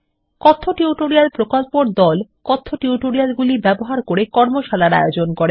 কথ্য টিউটোরিয়াল প্রকল্পর দল কথ্য টিউটোরিয়ালগুলি ব্যবহার করে কর্মশালার আয়োজন করে